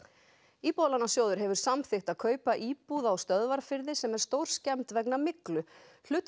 íbúðalánasjóður hefur samþykkt að kaupa íbúð á Stöðvarfirði sem er stórskemmd vegna myglu hluta